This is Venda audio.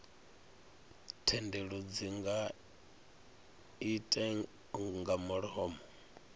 thendelo dzi nga irte nga mulomo